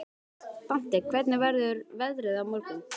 Dante, hvernig verður veðrið á morgun?